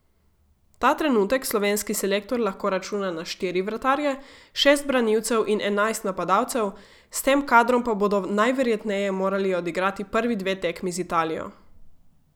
Ta trenutek slovenski selektor lahko računa na štiri vratarje, šest branilcev in enajst napadalcev, s tem kadrom pa bodo najverjetneje morali odigrati prvi dve tekmi z Italijo.